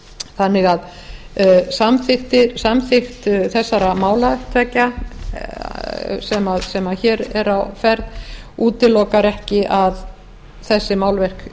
þannig að samþykkt þessara mála tveggja sem hér eru á ferð útilokar ekki að þessi málverk